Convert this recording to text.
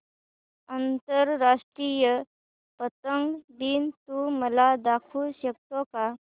आंतरराष्ट्रीय पतंग दिन तू मला दाखवू शकतो का